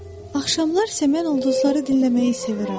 Axşamlar isə mən ulduzları dinləməyi sevirəm.